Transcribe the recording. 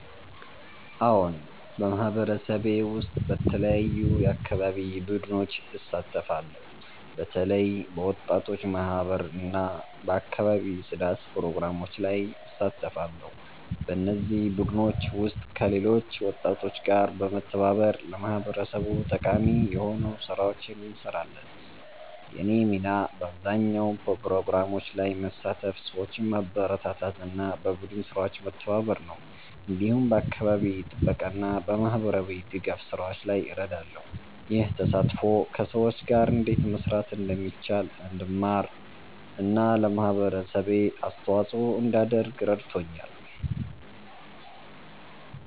አዎን፣ በማህበረሰቤ ውስጥ በተለያዩ የአካባቢ ቡድኖች እሳተፋለሁ። በተለይ በወጣቶች ማህበር እና በአካባቢ ጽዳት ፕሮግራሞች ላይ እሳተፋለሁ። በእነዚህ ቡድኖች ውስጥ ከሌሎች ወጣቶች ጋር በመተባበር ለማህበረሰቡ ጠቃሚ የሆኑ ስራዎችን እንሰራለን። የእኔ ሚና በአብዛኛው በፕሮግራሞች ላይ መሳተፍ፣ ሰዎችን ማበረታታት እና በቡድን ስራዎች መተባበር ነው። እንዲሁም በአካባቢ ጥበቃ እና በማህበራዊ ድጋፍ ስራዎች ላይ እረዳለሁ። ይህ ተሳትፎ ከሰዎች ጋር እንዴት መስራት እንደሚቻል እንድማር እና ለማህበረሰቤ አስተዋጽኦ እንዳደርግ ረድቶኛል።